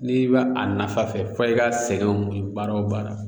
N'i bɛ a nafa fɛ fɔ i ka sɛgɛnw baara o baara